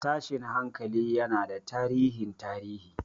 Tashin hankali yana da tarihin tarihi.